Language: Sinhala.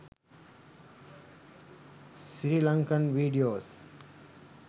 sri lankan videos